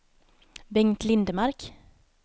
Bengt Lindmark